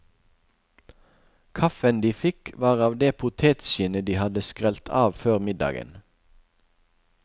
Kaffen de fikk var av det potetskinnet de hadde skrelt av før middagen.